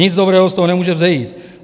Nic dobrého z toho nemůže vzejít.